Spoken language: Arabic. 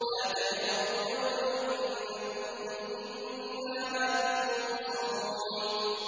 لَا تَجْأَرُوا الْيَوْمَ ۖ إِنَّكُم مِّنَّا لَا تُنصَرُونَ